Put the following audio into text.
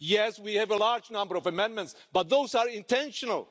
Yes, we have a large number of amendments, but those are intentional.